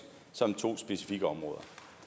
som to specifikke områder